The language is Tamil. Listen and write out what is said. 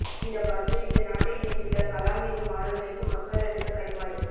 இந்தப்பற்று இந்த நாட்டை நேசித்த கலாம் என்னும் ஆளுமைக்கு மக்கள் அளித்த கைம்மாறு